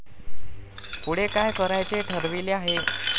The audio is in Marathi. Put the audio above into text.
पुढे काय करायचे ठरविले आहे?